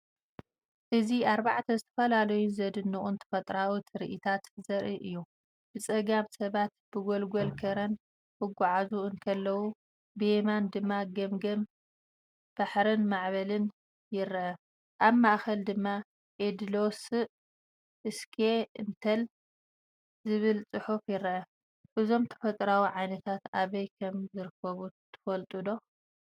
እዚ ኣርባዕተ ዝተፈላለዩን ዘደንቑን ተፈጥሮኣዊ ትርኢታት ዘርኢ እዩ። ብጸጋም ሰባት ብጎልጎል ከረን ክጓዓዙ እንከለዉ፡ብየማን ድማ ገማግም ባሕርን ማዕበልን ይረአ። ኣብ ማእከል ድማ "ኢድሎስእ እስኬ እንተል" ዝብል ጽሑፍ ይረአ። እዞም ተፈጥሮኣዊ ዓይነታት ኣበይ ከም ዝርከቡ ትፈልጡ ዶ?